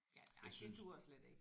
Ja ej det duer slet ikke